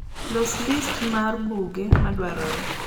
loso list mar buge madwarore